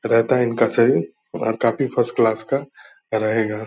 रहता है इनका शरीर और काफ़ी फर्स्ट क्लास का रहेगा।